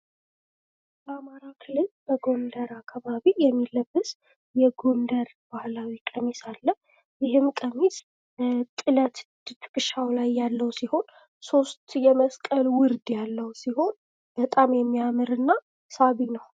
በአማራ ክልል በጎንደር አካባቢ የሚለበስ የጎንደር ባህላዊ ቀሚስ አለ። ይህም ቀሚስ ጥለት ከትከሻው ላይ ያለው ፣ሶስት የመስቀል ውርድ ያለው ሲሆን በጣም የሚያምርና ሳቢ ነው ።